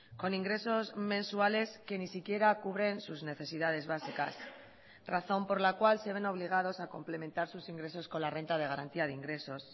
con ingresos mensuales que ni siquiera cubren sus necesidades básicas razón por la cual se ven obligados a complementar sus ingresos con la renta de garantía de ingresos